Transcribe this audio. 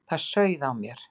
Það sauð á mér.